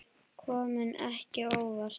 Kom ekki á óvart.